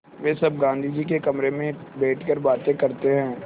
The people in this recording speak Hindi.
वे सब गाँधी जी के कमरे में बैठकर बातें करते हैं